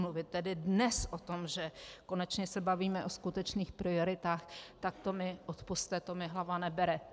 Mluvit tedy dnes o tom, že konečně se bavíme o skutečných prioritách, tak to mi - odpusťte - to mi hlava nebere.